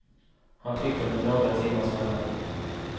Han fick dem med några timmars mellanrum.